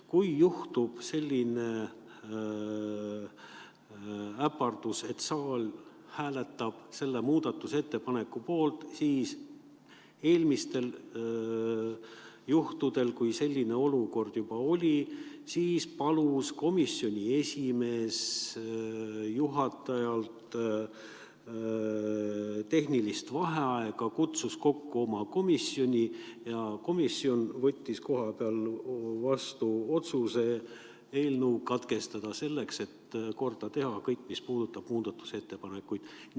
Kui juhtub selline äpardus, et saal hääletab selle muudatusettepaneku poolt, siis eelmistel kordadel, kui selline olukord juba oli, palus komisjoni esimees juhatajalt tehnilist vaheaega, kutsus oma komisjoni kokku ja komisjon võttis kohapeal vastu otsuse eelnõu lugemine katkestada, selleks et korda teha kõik, mis puudutab muudatusettepanekuid.